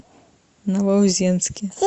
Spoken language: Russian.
новоузенске